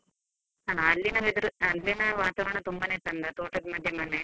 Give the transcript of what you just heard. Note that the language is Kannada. ಹಾ, ಅಲ್ಲಿನ weather, ಅಲ್ಲಿನ ವಾತಾವರಣ ತುಂಬಾನೇ ಚೆಂದ ತೋಟದ ಮಧ್ಯ ಮನೆ.